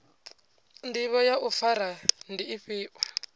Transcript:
ndivho ya u fara ndi ifhio